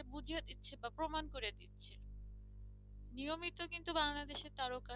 নিয়মিত কিন্তু বাংলাদেশের তারকারা